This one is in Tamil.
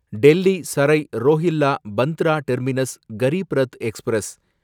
Delhi Sarai Rohilla Bandra terminus Garib Rath express